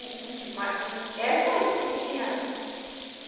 ma. Era só isso que a gente tinha lá.